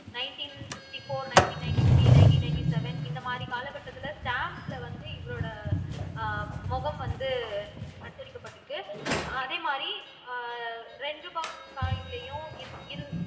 nineteen sixty four nineteen ninety three nineteen ninety seven இந்த மாதிரி காலகட்டத்தில ஸ்டம்ப்ஸ்ல வந்து இவரோட அஹ் முகம் வந்து அச்சடிக்கப்பட்டிருக்கு அதே மாரி அஹ் ரெண்டு ரூபா காயின்லயும் இரு இரு